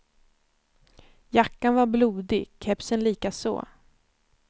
Jackan var blodig, kepsen likaså.